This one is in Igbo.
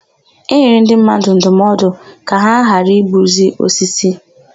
E nyere ndị mmadụ ndụmọdụ ka ha ghara igbuzi osisi.